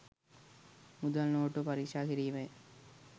මුදල් නෝට්ටුව පරික්ෂා කිරීමය.